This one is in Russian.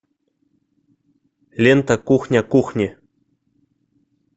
лента кухня кухни